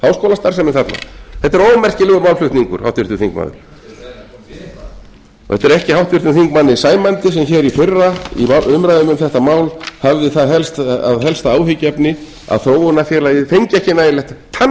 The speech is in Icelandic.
og háskólastarfsemin þarna þetta er ómerkilegur málflutningur háttvirtur þingmaður þetta er ekki háttvirtum þingmanni sæmandi sem hér í fyrra í umræðum um þetta mál hafði það að helsta að áhyggjuefni að þróunarfélagið fengi ekki nægilegt tannfé